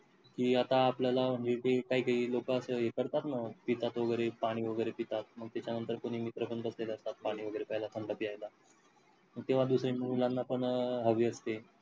कि आता आपल्याला म्हणजे ते काही काही लोक असतात ना असं ही करतात ना, पितात वगैरे पाणी वगैरे पितात मग त्याच्या नंतर मित्र पण बसलेले असतात पाणी वगैरे पेईला, तेव्हा दुसऱ्या मुलांना पण हवी असते.